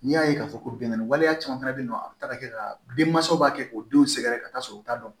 N'i y'a ye k'a fɔ ko binkani waleya caman fana bɛ yen nɔ a bɛ taa ka kɛ ka denmansaw b'a kɛ k'o denw sɛgɛrɛ ka taa sɔrɔ u t'a dɔn